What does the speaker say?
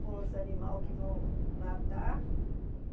com os animais que vão matar.